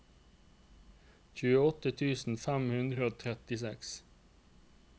tjueåtte tusen fem hundre og trettiseks